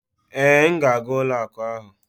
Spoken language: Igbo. Ee, m na-aga ụlọ akụ ahụ